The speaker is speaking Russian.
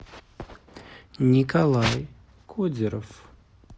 николай кудеров